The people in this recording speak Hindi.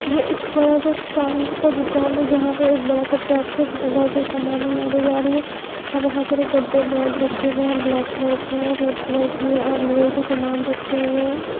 ये एक बड़ा सा टाइल्स का दुकान है जहां पे एक बड़ा सा टर्क है जिसमें बहुत से समान लादे जा रहे हैं अ वहां बहुत सारे गद्दे बेड रखे गए हैं ब्लैक कलर के रेड कलर के हैं और लोहे के समान रखे हुए हैं।